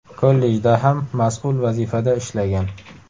Kollejda ham mas’ul vazifada ishlagan.